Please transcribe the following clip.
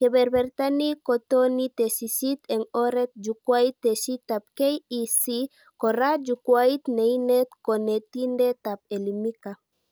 Keberberta ni kotoni tesisyit eng oret jukwait tesisyitab KEC, kora jukwait neinet konetindetab Elimika